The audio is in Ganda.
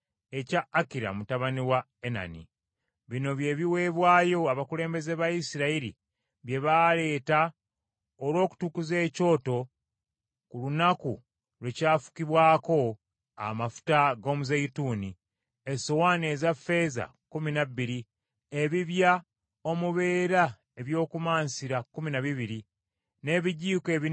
Bino bye biweebwayo abakulembeze ba Isirayiri bye baaleeta olw’okutukuza ekyoto ku lunaku lwe kyafukibwako amafuta ag’omuzeeyituuni: essowaani eza ffeeza kkumi na bbiri, ebibya omubeera eby’okumansira kkumi na bibiri, n’ebijiiko ebinene ebya zaabu kkumi na bibiri.